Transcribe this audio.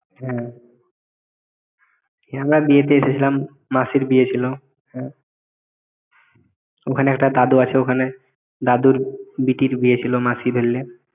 হ্যাঁ আমরা বিয়েতে এসেছিলাম মাসির বিয়ে ছিল হ্যাঁ ওখানে একটা দাদু আছে ওখানে দাদুর বিটির বিয়ে ছিল মাসি ধরলে